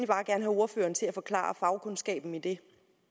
bare have ordføreren til at forklare fagkundskaben i det